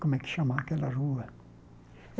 como é que chama aquela rua?